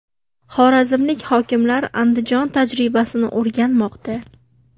Xorazmlik hokimlar Andijon tajribasini o‘rganmoqda.